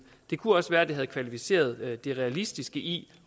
det kunne også være at det havde kvalificeret det realistiske i